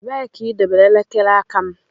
Ebee ka idobere elekere aka m?